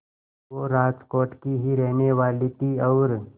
वो राजकोट की ही रहने वाली थीं और